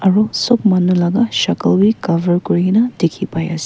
aru sab manu laga sakal bhi cover kuri ke na dikhi pai ase.